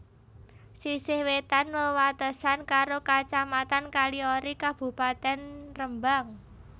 Sisih wétan wewatesan karo Kacamatan Kaliori Kabupatèn Rembang